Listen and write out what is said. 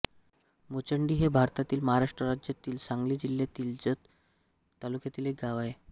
मुचंडी हे भारतातील महाराष्ट्र राज्यातील सांगली जिल्ह्यातील जत तालुक्यातील एक गाव आहे